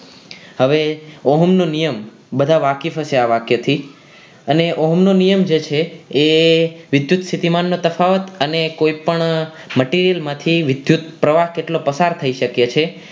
હવે ઓહમ નો નિયમ બધા વાકેફ જ છે આ વાક્ય થી અને ઓહમનો નિયમ જે છે એ વિદ્યુતસ્થિતિમાનના તફાવત અને કોઈપણ material માંથી વિધુત પ્રવાહ કેટલો પસાર થઈ શકે છે